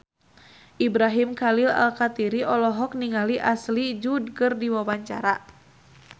Ibrahim Khalil Alkatiri olohok ningali Ashley Judd keur diwawancara